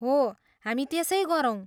हो, हामी त्यसै गरौँ।